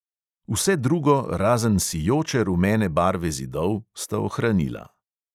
Vse drugo, razen sijoče rumene barve zidov, sta ohranila.